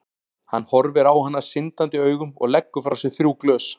Hann horfir á hana syndandi augum og leggur frá sér þrjú glös.